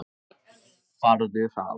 Farðu hraðar.